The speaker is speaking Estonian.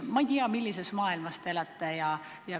Ma ei tea, millises maailmas te elate.